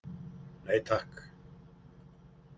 Nei takk.